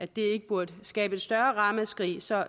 det ikke burde skabe et større ramaskrig så